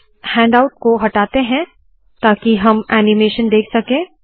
इस हैण्डआउट को हटाते है ताकि हम ऐनीमेशन देख सके